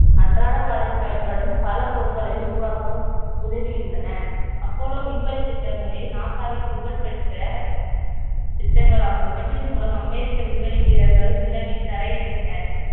அன்றாட வாழ்வில் பயன்படும் பல பொருட்களை உருவாக்க உதவியுள்ளன அப்போல்லோ விண்வெளி திட்டங்களை நாசாவின் புகழ்பெற்ற திட்டங்களாகும் இவற்றின் மூலம் அமெரிக்க விண்வெளி வீரர்கள் நிலவில் தரையிறங்கினர்